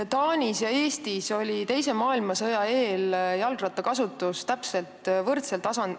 Taanis ja Eestis oli teise maailmasõja eel jalgrattakasutuse tase võrdne.